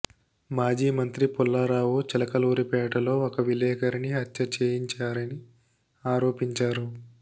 మాజీ మంత్రి పుల్లారావు చిలకలూరిపేటలో ఒక విలేకరిని హత్య చేయించారని ఆరోపించారు